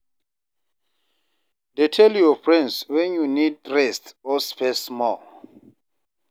Dey tell your friends when you need rest or space small.